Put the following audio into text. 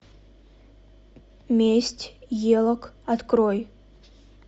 месть елок открой